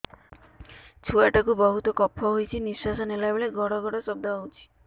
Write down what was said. ଛୁଆ ଟା କୁ ବହୁତ କଫ ହୋଇଛି ନିଶ୍ୱାସ ନେଲା ବେଳେ ଘଡ ଘଡ ଶବ୍ଦ ହଉଛି